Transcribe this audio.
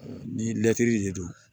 Ni lɛtiri de don